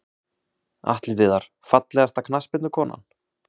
Atli Viðar Fallegasta knattspyrnukonan?